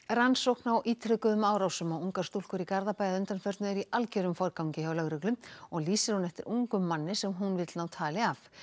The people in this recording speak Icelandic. rannsókn á ítrekuðum árásum á ungar stúlkur í Garðabæ að undanförnu er í algjörum forgangi hjá lögreglu og lýsir hún eftir ungum manni sem hún vill ná tali af